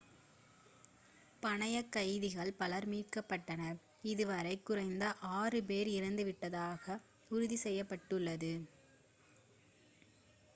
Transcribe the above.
பணயக்கைதிகள் பலர் மீட்கப்பட்டனர் இது வரை குறைந்தது 6 பேர் இறந்துவிட்டதாக உறுதி செய்யப்பட்டுள்ளது